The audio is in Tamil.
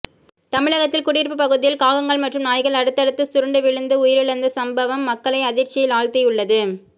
தமிழகத்தில் குடியிருப்பு பகுதியில் காகங்கள் மற்றும் நாய்கள் அடுத்தடுத்து சுருண்டு விழுந்து உயிரிழந்த சம்பவம் மக்களை அதிர்ச்சியில் ஆழ்த்தியுள்ளது